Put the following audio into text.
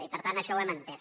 i per tant això ho hem entès